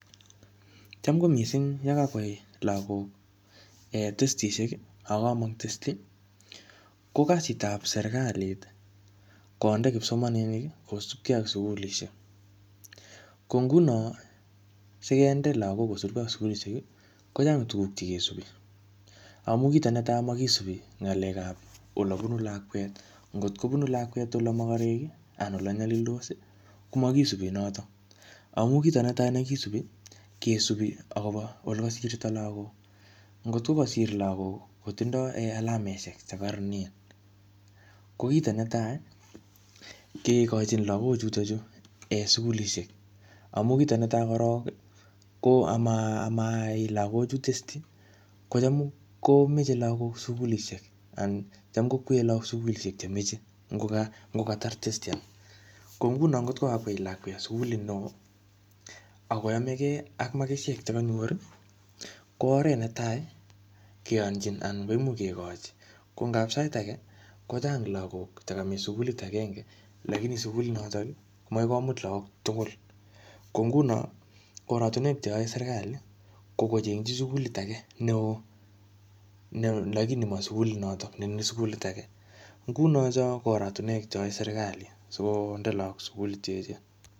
Cham ko mising ye kakwai lagok um testisiek ii, ako kamong testi, ko kasitab serikalit ii, konde kipsomaninik ii kosupkei ak sukulisiek, ko nguno sikende lagok kosupkei ak sukulisiek ii kochang tukuk che kesupi, amu kito netai makisupi ngalekab ole bunu lakwet, ngot kobunu lakwet ole mokorek ii anan ole nyalildos ii komakisupi notok, amu kito ne tai nekisupi, kesupi ole kasirto lagok, ngot ko kasir lagok kotindoi um alamesiek che kororonen ko kito netai ii, kekochin lagochutochu sukulisiek, amu kito netai korok amaai lagochu testi, kocham komeche lagok sukulisiek anan kocham kokweei lagok sukulisiek chemeche ngo ngatar testi ko nguno ngot kakwei lakwet sukulit ne oo ak koyomekei ak makisiek che kanyor ii, ko oret netai keyonchin anan koimuch kekochi, ko ngap sait ake kochang lagok chekamach sukulit akenge lakini sukulinotok ii makoi komut lagok tugul, ko nguno oratinwek che yoe serikali ko kochengchi sukulit ake ne oo lakini ma sukulinoto ne sukulit ake, nguno cho ko oratinwek che yoe serikali si konde lagok sukulit che echen.